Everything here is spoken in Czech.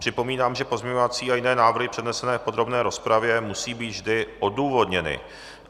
Připomínám, že pozměňovací a jiné návrhy přednesené v podrobné rozpravě, musí být vždy odůvodněny.